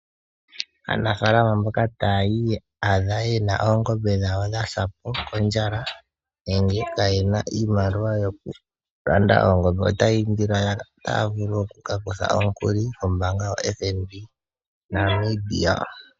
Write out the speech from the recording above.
Aanafalama mboka ta ya iyadha yena oongombe dhawo dha sa po kondjala, nenge kaaya ena iimaliwa yoku landa oongombe, ota ya indilwa ya ka kuthe omukuli kombaanga yotango yopashigwana, Namibia.